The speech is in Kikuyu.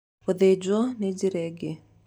Gũthijwo nĩ njĩra ĩngĩ.